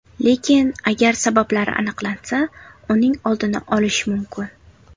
Lekin agar sabablari aniqlansa, uning oldini olish mumkin.